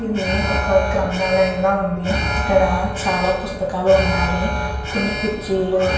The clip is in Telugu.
ఇది ఒక గ్రంధాలయం లా వుంది ఇక్కడ చాల పుస్తకాలు వున్నాయి కొన్ని కుర్చీలు --